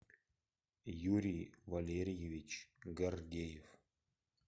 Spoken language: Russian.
юрий валерьевич гордеев